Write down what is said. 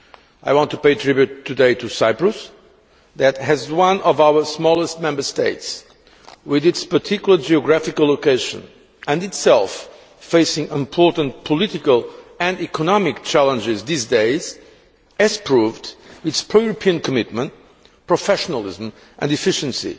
I want to pay tribute today to Cyprus, which, as one of our smallest Member States, with its particular geographical location and itself facing important political and economic challenges these days, has proved its pro European commitment, professionalism and efficiency